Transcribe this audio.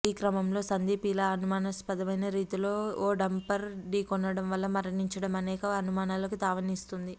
ఈ క్రమంలో సందీప్ ఇలా అనుమానాస్పదమైన రీతిలో ఓ డంపర్ ఢీక్కొనడం వల్ల మరణించడం అనేక అనుమానాలకు తావిస్తోంది